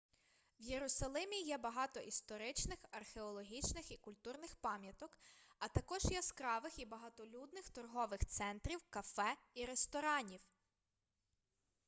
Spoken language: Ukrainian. в єрусалимі є багато історичних археологічних і культурних пам'яток а також яскравих і багатолюдних торгових центрів кафе і ресторанів